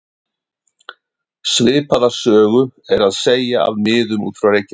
Svipaða sögu er að segja af miðum út af Reykjanesi.